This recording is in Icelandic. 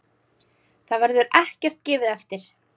Þar verður ekkert gefið eftir.